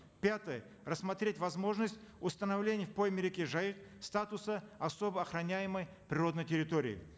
пятое рассмотреть возможность установления в пойме реки жайык статуса особо охраняемой природной территории